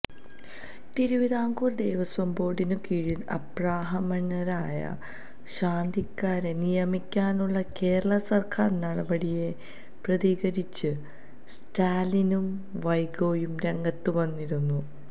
തിരുവിതാംകൂര് ദേവസ്വം ബോര്ഡിനു കീഴില് അബ്രാഹ്മണരായ ശാന്തിക്കാരെ നിയമിക്കാനുള്ള കേരള സര്ക്കാര് നടപടിയെ പ്രകീര്ത്തിച്ച് സ്റ്റാലിനും വൈകോയും രംഗത്ത് വന്നിരുന്നു